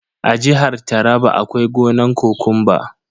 A jihar taraba akwai gonan kokumba.